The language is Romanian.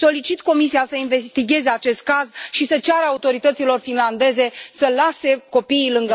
Solicit Comisiei să investigheze acest caz și să ceară autorităților finlandeze să lase copiii lângă mamă.